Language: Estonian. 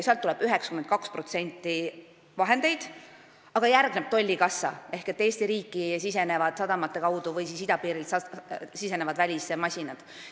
Sealt tuleb 92% vahendeid ja järgneb tolli kassa ehk Eesti riiki sadamate kaudu või idapiirilt sisenevad välismasinad.